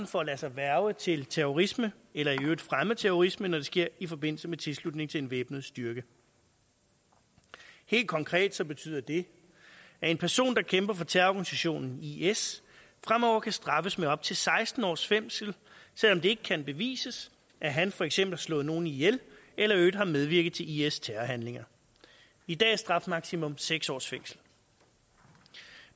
for at lade sig hverve til terrorisme eller i øvrigt fremme terrorisme når det sker i forbindelse med tilslutning til en væbnet styrke helt konkret betyder det at en person der kæmper for terrororganisationen is fremover kan straffes med op til seksten års fængsel selv om det ikke kan bevises at han for eksempel har slået nogen ihjel eller i øvrigt har medvirket til is terrorhandlinger i dag er strafmaksimum seks års fængsel